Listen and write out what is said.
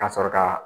Ka sɔrɔ ka